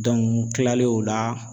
n kilalen o la